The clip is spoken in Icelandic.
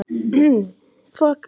Karen: Hefur þú fengið góð ráð?